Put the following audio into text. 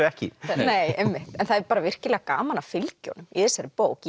ekki það er bara virkilega gaman að fylgja honum í þessari bók